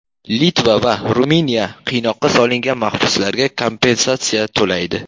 Litva va Ruminiya qiynoqqa solingan mahbuslarga kompensatsiya to‘laydi.